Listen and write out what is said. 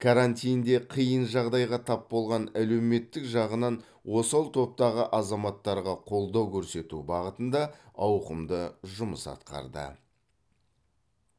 каратинде қиын жағдайға тап болған әлеуметтік жағынан осал топтағы азаматтарға қолдау көрсету бағытында ауқымды жұмыс атқарды